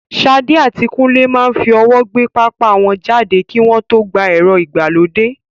Sade àti Kunle máa ń fi ọwọ́ gbé pápá wọn jáde kí wọ́n tó gba ẹ̀rọ ìgbàlódé.